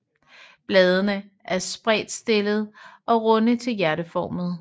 Bladene er spredtstillede og runde til hjerteformede